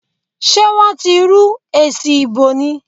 Sé wọ́n ti rú èsì ìbò ni?